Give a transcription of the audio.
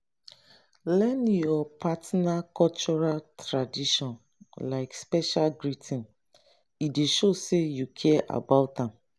learn your partner cultural tradition like special greeting e dey show say you care about am